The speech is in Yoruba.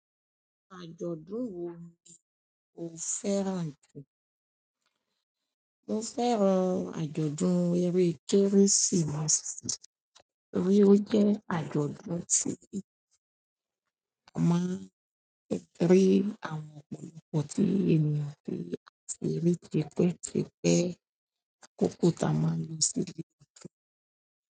Àjọ̀dún wo ni o fẹ́ràn jù? Mo fẹ́ràn àjọ̀dún eré Kérésìmesì torí ó jẹ́ àjọ̀dún tí a máa ń rí àwọn ọ̀pọ̀lọpọ̀ tí ènìyàn fi àti ṣeré tipẹ́ tipẹ́, akọ́kọ́ ta máa ń lọ sílé ọkọ.